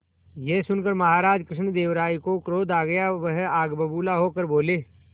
यह सुनकर महाराज कृष्णदेव राय को क्रोध आ गया वह आग बबूला होकर बोले